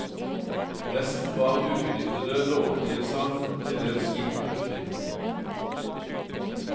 Resten var ubenyttede lånetilsagn, til dels gitt muntlig.